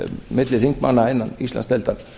milli þingmanna innan íslandsdeildar